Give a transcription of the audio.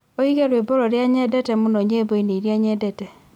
ũige rwĩmbo rũrĩa nyendete mũno nyĩmbo-inĩ iria nyendete